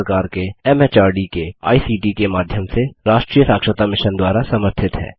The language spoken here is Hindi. भारत सरकार के एमएचआरडी के आईसीटी के माध्यम से राष्ट्रीय साक्षरता मिशन द्वारा समर्थित है